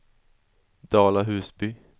Dala-Husby